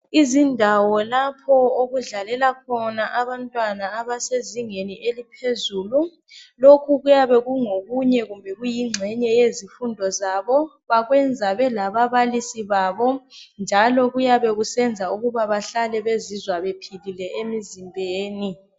Izindawo lapho okudlalela khona abantwana abasezingeni eliphezulu. Lokhu kuyabe kungokunye kumbe kuyingxenye yezifundo zabo, bakwenza belababalisi babo njalo kuyabe kusenza ukuba bahlale bezizwa bephilile emzimbeni.